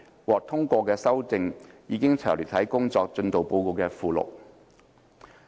獲通過的修訂已詳列於工作進度報告的附錄。